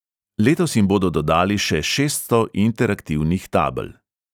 Letos jim bodo dodali še šeststo interaktivnih tabel.